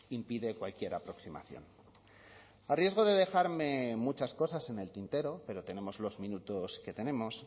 impide cualquier aproximación a riesgo de dejarme muchas cosas en el tintero pero tenemos los minutos que tenemos